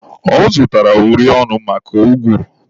Ọ zụtara uri ọnụ maka ụgụrụ.